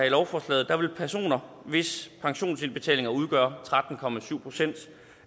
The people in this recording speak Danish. i lovforslaget vil personer hvis pensionsindbetalinger udgør tretten procent